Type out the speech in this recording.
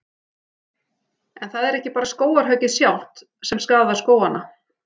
En það er ekki bara skógarhöggið sjálft sem skaðar skógana.